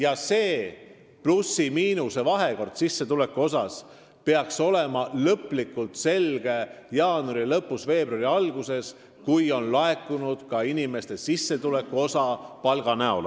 Aga see sissetulekute plusside ja miinuste vahekord peaks lõplikult selguma jaanuari lõpus või veebruari alguses, kui sissetuleku osana on laekunud ka inimeste palgad.